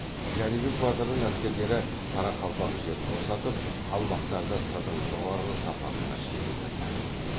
жәнібек батырдың әскерлері қарақалпақ жерін босатып қалмақтарды сырдың жоғарғы сапасына шегіндірді